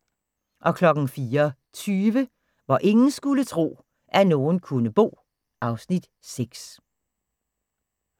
04:20: Hvor ingen skulle tro, at nogen kunne bo (Afs. 6)